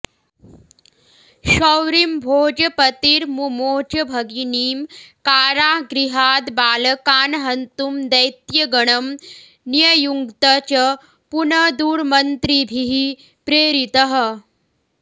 शौरिं भोजपतिर्मुमोच भगिनीं कारागृहाद्बालकान् हन्तुं दैत्यगणं न्ययुङ्क्त च पुनदुर्मन्त्रिभिः प्रेरितः